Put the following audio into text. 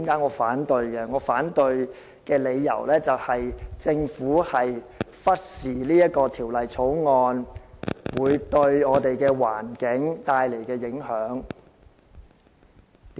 我反對的理由，就是政府忽視了《條例草案》對環境帶來的影響。